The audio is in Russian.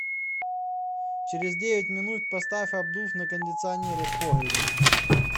через девять минут поставь обдув на кондиционере в погребе